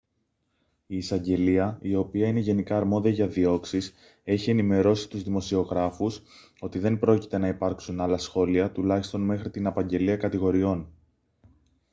η εισαγγελία η οποία είναι γενικά αρμόδια για διώξεις έχει ενημερώσει τους δημοσιογράφους ότι δεν πρόκειται να υπάρξουν άλλα σχόλια τουλάχιστον μέχρι την απαγγελία κατηγοριών